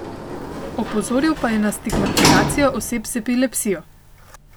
Opozoril pa je na stigmatizacijo oseb z epilepsijo.